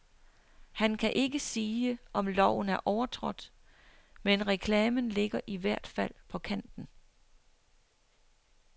Han kan ikke sige, om loven er overtrådt, men reklamen ligger i hvert fald på kanten.